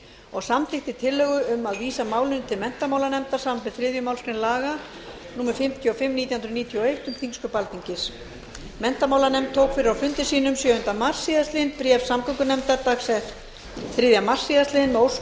og samþykkti tillögu um að vísa málinu til menntamálanefndar samanber þriðju málsgrein laga númer fimmtíu og fimm nítján hundruð níutíu og eitt um þingsköp alþingis menntamálanefnd tók fyrir á fundi sínum sjöunda mars síðastliðinn bréf samgöngunefndar dags þriðja mars síðastliðinn með ósk um